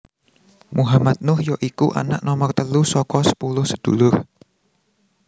Muhammad Nuh ya iku anak nomer telu saka sepuluh sedulur